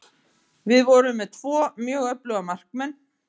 Við vorum með tvo mjög öfluga markmenn.